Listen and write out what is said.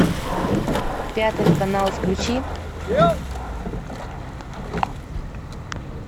пятый канал включи